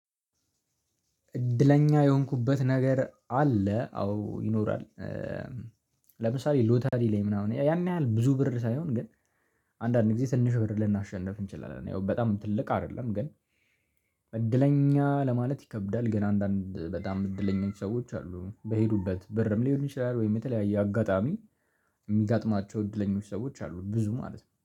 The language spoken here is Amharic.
እድለኛ የሆንኩበት ነገር አለ አዎ ይኖራል ለምሳሌ ሎተሪ ላይ ምናምን ያን ያህል ብዙ ብር ሳይሆን ግን አንዳንዴ ጊዜ ትንሽ ብር ልናሸንፍ እንችላለን። ያው በጣም ትልቅ አይደለም ግን እድለኛ ለማለት ይከብዳል። ግን አንዳንድ በጣም እድለኛች ሰዎች አሉ። በሄዱበት ብርም ሊሆን ይችላል ወይም የተለያየ አጋጣሚ ሚጋጥማቸው እድለኞች ሰዎች አሉ ብዙ ማለት ነው።